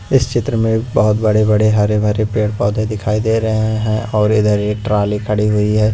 इस चित्र में बहुत बड़े-बड़े हरे-भरे पेड़-पौधे दिखाई दे रहे हैं और इधर एक ट्राली खड़ी हुई है।